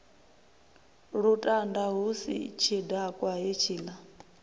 lutanda hu si tshidakwa hetshiḽa